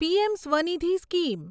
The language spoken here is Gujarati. PM Svanidhi scheme